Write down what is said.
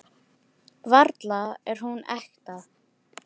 Varla er hún ekta.